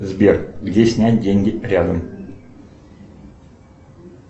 сбер где снять деньги рядом